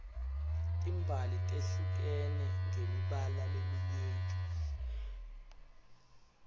timbali tehlukene ngemibala leminyeni